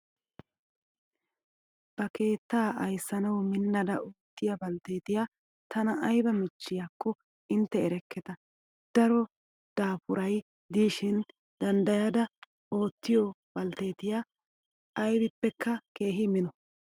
Ba keettaa ayissanawu minnada oottiyaa baltteetiyaa tana ayiba michchiyaakko intte erekketa. Daro daapuraayi diishshin danddayada ottiyaa baltteetiyaa ayibippekka keehi mino.